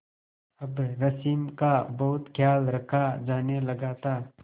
अब रश्मि का बहुत ख्याल रखा जाने लगा था